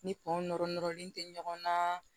Ni kɔn nɔrɔ nɔrɔlen tɛ ɲɔgɔn na